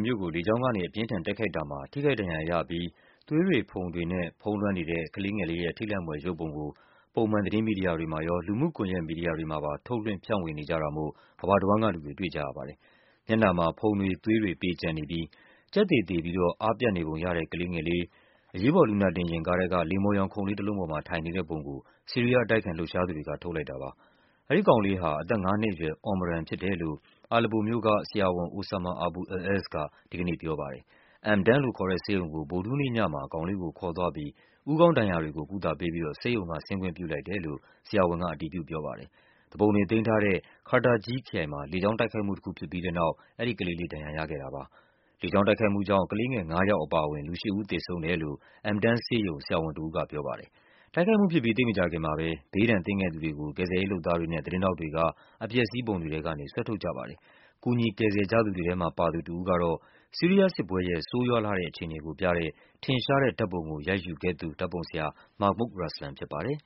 မြို့ကို လေကြောင်းကနေ အပြင်းအထန် တိုက်ခိုက်တာမှာ ထိခိုက်ဒဏ်ရာရပြီး သွေးတွေ ဖုန်တွေနဲ့ ဖုံးလွှမ်းနေတဲ့ ကလေးငယ်လေးရဲ့ ထိတ်လန့်ဖွယ်ရုပ်ပုံကို ပုံမှန်သတင်းမီဒီယာတွေမှာရော လူမှုကွန်ယက်မီဒီယာတွေမှာ ထုတ်လွှင့် ဖြန့်ဝေနေကြတာမို့ ကမ္ဘာတဝန်းကလူတွေ တွေ့ကြရပါတယ်။ မျက်နှာမှာ ဖုံတွေ၊ သွေးတွေ ပေကျံနေပြီး ကြက်သေသေပြီးတော့ အားပြတ်နေပုံရတဲ့ ကလေးငယ်လေး အရေးပေါ် လူနာတင် ယာဉ်ကားထဲက လိမ္မော်ရောင် ခုံလေးတလုံးပေါ်မှာ ထိုင်နေတဲ့ပုံကို ဆီးရီးယား အတိုက်အခံလှုပ်ရှားသူတွေက ထုတ်လိုက်တာပါ။ အဲဒီကောင်လေးဟာ အသက် ငါးနှစ်အရွယ် Omran ဖြစ်တယ်လို့ Aleppo မြို့က ဆရာဝန် Osama Abu al-Ezz က ဒီကနေ့ ပြောပါတယ်။ M10 လို့ခေါ်တဲ့ဆေးရုံကို ဗုဒ္ဓဟူးနေ့ညမှာ ကောင်လေးကိုခေါ်သွားပြီး ဦးခေါင်းဒဏ်ရာတွေကို ကုသပေးပြီးတော့ ဆေးရုံက ဆင်းခွင့်ပြုလိုက်တယ်လို့ ဆရာဝန်က အတည်ပြုပြောပါတယ်။ သူပုန်တွေသိမ်းထားတဲ့ Qaterji ခရိုင်မှာ လေကြောင်းတိုက်ခိုက်မှုတခု ဖြစ်ပြီးတဲ့နောက် အဲဒီကလေးလေး ဒဏ်ရာရခဲ့တာပါ။ လေကြောင်းတိုက်ခိုက်မှုကြောင့် ကလေးငယ်ငါးယောက် အပါအဝင် လူရှစ်ဦးသေဆုံးတယ်လို့ M10 ဆေးရုံက ဆရာဝန်တဦးက ပြောပါတယ်။ တိုက်ခိုက်မှုဖြစ်ပြီး သိပ်မကြာခင်မှာပဲ ဘေးဒဏ်သင့်ခဲ့သူတွေကို ကယ်ဆယ်ရေးလုပ်သားတွေနဲ့ သတင်းထောက်တွေက အပျက် အစီးပုံတွေထဲကနေ ဆွဲထုတ်ကြပါတယ်။ ကူညီ ကယ်ဆယ်ကြသူတွေထဲမှာပါတဲ့ တဦးကတော့ ဆီးရီးယားစစ်ပွဲရဲ့ ဆိုးရွားလှတဲ့ အခြေအနေကိုပြတဲ့ ထင်ရှားတဲ့ဓာတ်ပုံကို ရိုက်ယူူခဲ့တဲ့ဓာတ်ပုံဆရာ Mahmoud Raslan ဖြစ်ပါတယ်။